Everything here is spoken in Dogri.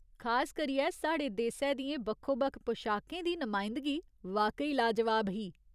खास करियै, साढ़े देसै दियें बक्खो बक्खो पशाकें दी नमायंदगी वाकई लाजवाब ही।